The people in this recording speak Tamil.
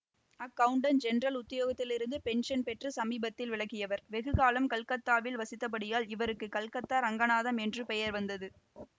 அக்கவுண்டண்ட் ஜெனரல் உத்தியோகத்திலிருந்து பென்ஷன் பெற்று சமீபத்தில் விலக்கியவர் வெகுகாலம் கல்கத்தாவில் வசித்தபடியால் இவருக்கு கல்கத்தா ரங்கநாதம் என்று பெயர் வந்தது